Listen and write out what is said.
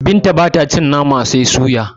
Binta bata cin Nama sai a soya